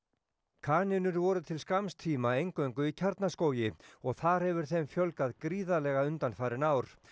kanínur voru til skamms tíma eingöngu í Kjarnaskógi og þar hefur þeim fjölgað gríðarlega undanfarin ár